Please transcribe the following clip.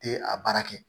Tɛ a baara kɛ